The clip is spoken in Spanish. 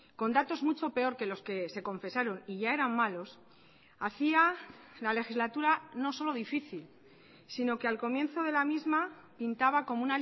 con datos mucho peor que los que se confesaron y ya eran malos hacía la legislatura no solo difícil sino que al comienzo de la misma pintaba como